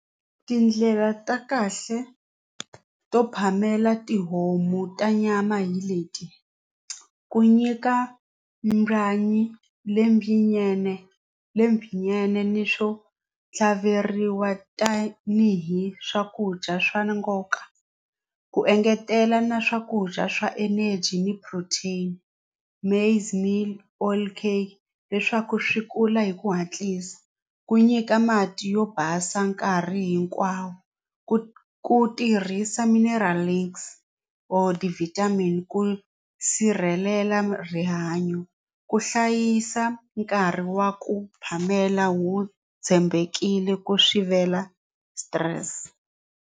Tindlela ta kahle to phamela tihomu ta nyama hi leti ku nyika byanyi lebyinyene lebyinyene ni swo tlhaveriwa tanihi swakudya swa nkoka ku engetela na swakudya swa energy ni protein maize meal all cake leswaku swi kula hi ku hatlisa ku nyika mati yo basa nkarhi hinkwawo ku ku tirhisa or ti-vitamin ku sirhelela rihanyo ku hlayisa nkarhi wa ku phamela wu tshembekile ku sivela stress.